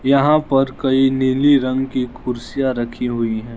यहां पर कई नीली रंग की कुर्सियां रखी हुई है।